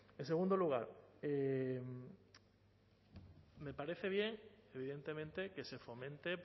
en segundo lugar me parece bien evidentemente que se fomente